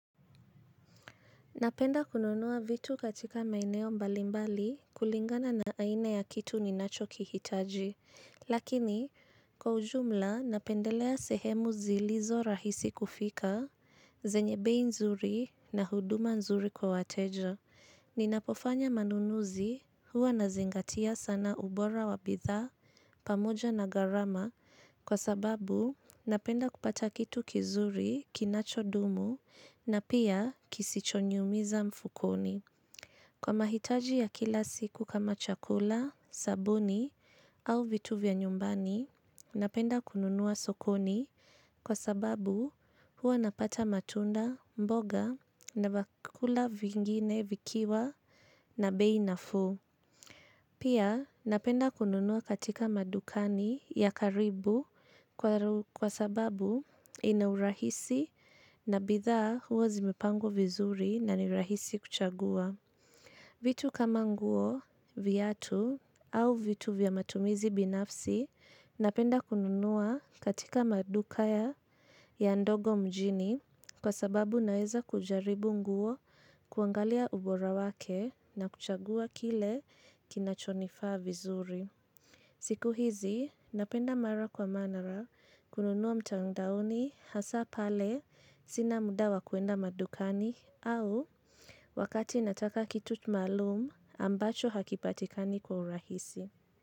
Napenda kununua vitu katika maeneo mbalimbali kulingana na aina ya kitu ninachokihitaji. Lakini, kwa ujumla napendelea sehemu zilizo rahisi kufika, zenye bei nzuri na huduma nzuri kwa wateja. Ninapofanya manunuzi huwa nazingatia sana ubora wa bidhaa, pamoja na gharama. Kwa sababu napenda kupata kitu kizuri kinachodumu na pia kisichoniumiza mfukoni. Kwa mahitaji ya kila siku kama chakula, sabuni au vitu vya nyumbani, napenda kununua sokoni kwa sababu huwa napata matunda mboga na vyakula vingine vikiwa na bei nafuu. Pia napenda kununua katika madukani ya karibu kwa sababu ina urahisi na bidhaa huwa zimepangwa vizuri na ni rahisi kuchagua. Vitu kama nguo viatu au vitu vya matumizi binafsi napenda kununua katika maduka ya ya ndogo mjini kwa sababu naeza kujaribu nguo kuangalia ubora wake na kuchagua kile kinachonifaa vizuri. Siku hizi, napenda mara kwa mara kununua mtandaoni hasa pale sina muda wa kuenda madukani au wakati nataka kitu maalumu ambacho hakipatikani kwa urahisi.